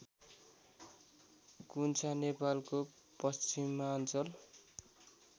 कुन्छा नेपालको पश्चिमाञ्चल